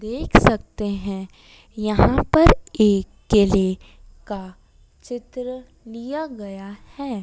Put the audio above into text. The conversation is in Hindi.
देख सकते हैं यहां पर एक केले का चित्र लिया गया है।